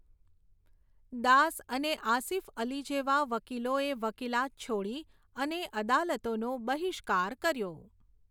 દાસ અને આસિફઅલી જેવા વકીલોએ વકીલાત છોડી અને અદાલતોનો બહિષ્કાર કર્યો.